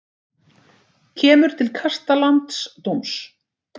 Kemur til kasta landsdóms